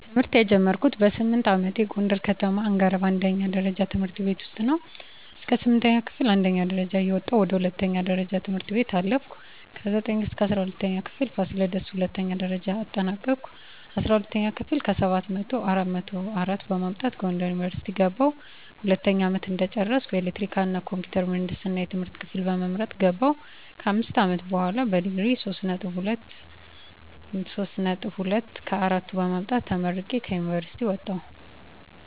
ትምህርት የጀመርኩት በስምንት አመቴ ጎንደር ከተማ አንገረብ አንደኛ ደረጃ ትምህርት ቤት ነው። እስከ ስምንተኛ ክፍል አንደኛ ደረጃ እየወጣሁ ወደ ሁለተኛ ደረጃ ትምህርት ቤት አለፍኩ። ከዘጠኝ እስከ እስራ ሁለተኛ ክፍል ፋሲለደስ ሁለተኛ ደረጃ አጠናቀኩኝ። አስራ ሁለተኛ ክፍል ከሰባት መቶው አራት መቶ አራት በማምጣት ጎንደር ዩኒቨርሲቲ ገባሁ። ሁለተኛ አመት እንደጨረስኩ ኤሌክትሪካል እና ኮምፒውተር ምህንድስና የትምህርት ክፍል በመምረጥ ገባሁ። ከአምስት አመት በሆላ በዲግሪ ሶስት ነጥብ ሁለት ከአራቱ በማምጣት ተመርቄ ከዩኒቨርሲቲ ወጣሁ።